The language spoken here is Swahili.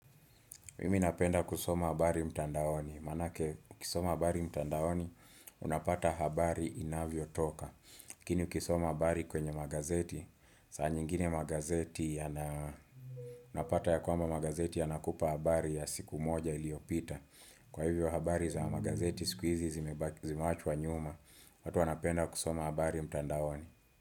Mimi napenda kusoma habari mtandaoni. Maanake, ukisoma habari mtandaoni, unapata habari inavyotoka. Lakini ukisoma habari kwenye magazeti, saa nyingine magazeti yana, unapata ya kwamba magazeti yanakupa habari ya siku moja iliyopita. Kwa hivyo habari za magazeti, siku hizi zimewachwa nyuma. Watu wanapenda kusoma habari mtandaoni.